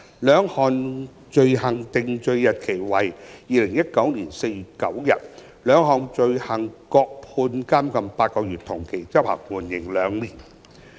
兩項罪行的定罪日期為2019年4月9日，各判監禁8個月，同期執行，緩刑2年。